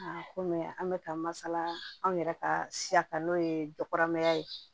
Komi an bɛ ka masala anw yɛrɛ ka siya n'o ye jɔkuramaya ye